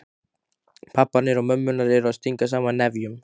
Pabbarnir og mömmurnar að stinga saman nefjum.